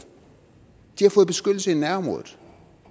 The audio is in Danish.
de har fået beskyttelse i nærområdet